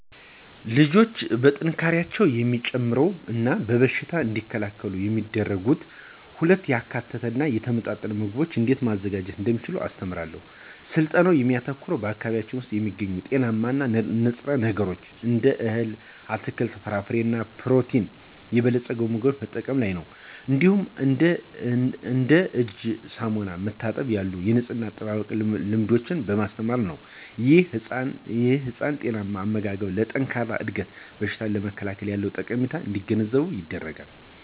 ልጆች ጥንካሬያቸውን የሚጨምር እና በሽታን እንዲከላከሉ የሚረዱ ሁሉንም ያካተተ እና የተመጣጠነ ምግቦችን እንዴት ማዘጋጀት እንደሚችሉ አስተምራለሁ። ስልጠናው የሚያተኩረው በአካባቢዬ ውስጥ የሚገኙ ጤናማ ንጥረ ነገሮችን እንደ እህል፣ አትክልት፣ ፍራፍሬ እና በፕሮቲን የበለጸጉ ምግቦችን መጠቀም ላይ ነው። እንዲሁም እንደ እጅን በሳሙና መታጠብ ያሉ የንፅህና አጠባበቅ ልምዶችን በማስተማር ላይ። ይህም ህፃናት ጤናማ አመጋገብ ለጠንካራ እድገት እና በሽታን ለመከላከል ያለውን ጠቀሜታ እንዲገነዘቡ ይረዳል።